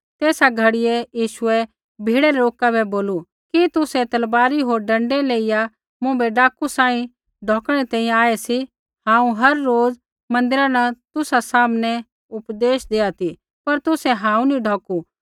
तेसा घड़ियै यीशुऐ भीड़ै रै लोका बै बोलू कि तुसै तलवारी होर डँडै लेइया मुँभै डाकू सांही ढौकणै री तैंईंयैं आऐ सी हांऊँ हर रोज़ मन्दिरा न तुसा सामनै उपदेश देआ ती पर तुसै हांऊँ नी ढौकू